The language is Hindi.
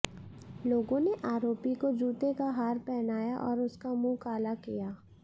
लोगों ने आरोपी को जूतों का हार पहनाया और उसका मुंह काला किया